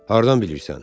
Hardan bilirsən?